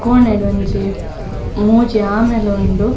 ಕೋಣೆಡ್ ಒಂಜಿ ಮೂಜಿ ಆಮೆಲ್ ಉಂಡು.